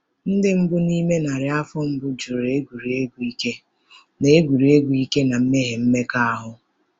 Ndị mbụ n’ime narị afọ mbụ jụrụ egwuregwu ike na egwuregwu ike na mmehie mmekọahụ.